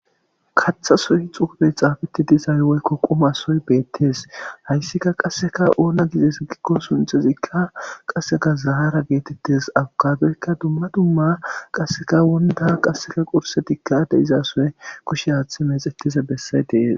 kaththa soy xugubey xaafeti dizay woykko quma soy beettes hayssika qasseka oona gides gikko sunxezikka qasseka zahara geetettes abugadoykka dumma dumma qasseka wonda qasseka qursetikka de izasoye kushe haaththe mexettize bessay dees